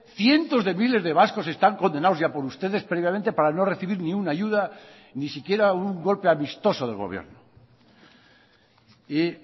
cientos de miles de vascos están condenados ya por ustedes previamente para no recibir ni una ayuda ni siquiera un golpe amistoso del gobierno y